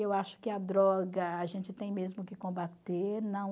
Eu acho que a droga a gente tem mesmo que combater. Não